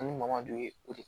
An bɛ maama d'u ye o de